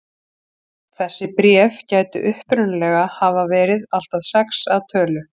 Þessi bréf gætu upprunalega hafa verið allt að sex að tölu.